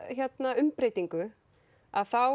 umbreytingu þá